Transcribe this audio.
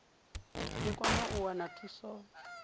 i kone u wana thuso